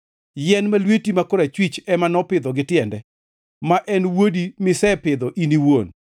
yien ma lweti ma korachwich ema nopidho gi tiende, ma en wuodi misepidho in iwuon.